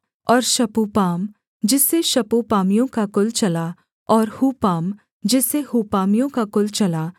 और शपूपाम जिससे शपूपामियों का कुल चला और हूपाम जिससे हूपामियों का कुल चला